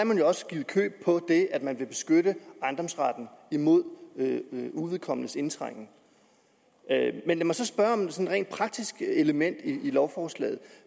man jo også givet køb på det at man vil beskytte ejendomsretten imod uvedkommendes indtrængen med lad mig så spørge om et sådan rent praktisk element i lovforslaget